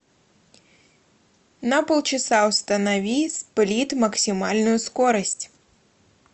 на полчаса установи сплит максимальную скорость